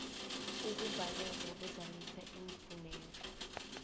ukubhalelwa kuzalisa iimfuneko